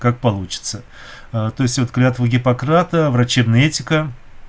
как получится то есть вот клятвы гиппократа врачебная этика